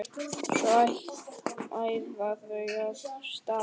Svo æða þau af stað.